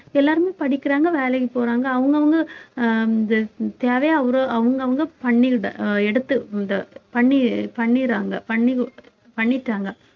எல்லாருமே படிக்கிறாங்க வேலைக்கு போறாங்க அவங்கவங்க அஹ் தேவையை அவரு அவங்கவங்க பண்ணிகிடு~ அஹ் எடுத்து இந்த பண்ணி~ பண்ணிடுறாங்க பண்ணி~ பண்ணிட்டாங்க